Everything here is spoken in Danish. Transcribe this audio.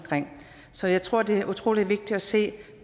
så jeg tror det er utrolig vigtigt at se